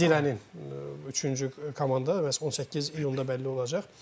Zirənin üçüncü komanda məhz 18 iyunda bəlli olacaq.